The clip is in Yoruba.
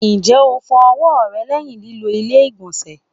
Njẹ o fọ ọwọ rẹ lẹhin lilo ilé-igbọnsẹ?